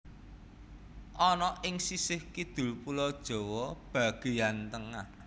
ana ing sisih kidul pulo Jawa bagéyan tengah